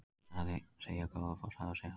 Segja Goðafoss hafa siglt hratt